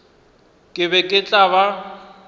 ke be ke tla ba